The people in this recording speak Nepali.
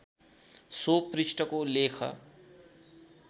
सो पृष्ठको लेख